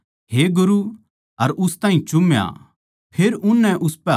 फेर उननै उसपै हाथ गेर कै उस ताहीं पकड़ लिया